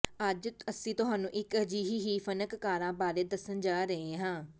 ਅੱਜ ਅਸੀਂ ਤੁਹਾਨੂੰ ਇੱਕ ਅਜਿਹੀ ਹੀ ਫ਼ਨਕਾਰਾ ਬਾਰੇ ਦੱਸਣ ਜਾ ਰਹੇ ਹਾਂ